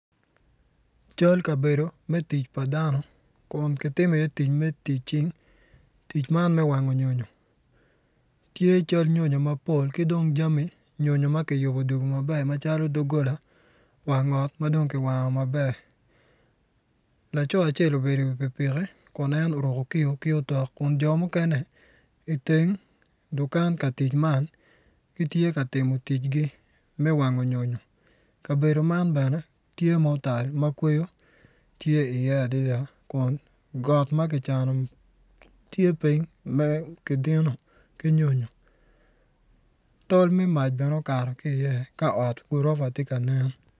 Cal kabedo pa dano kun kitimo iye tic me tic cing tic man me wango nyonyo tye cal nyonyo mapol ki dong jami nyonyo ma kiyubo odugo maber macalo doggola wang ot ma dong kiwango maber. Laco acel obedo iwi pikipiki kun en oruko kiyo ki otok kun jo mukene, iteng dukan ka timo tic man kitye ka timo ticgi me wango nyonyo kabedo man bene tye ma otal ma kweyo tye iye adada kun got ma kicano tye piny ma kidino ki nyonyo tol me ot bene okato ki iye ka ot gurofa tye ka nen.